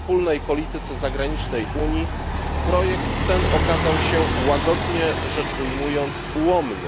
wspólnej polityce zagranicznej Unii, projekt ten okazał się, łagodnie rzecz ujmując, ułomny.